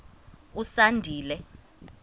usandile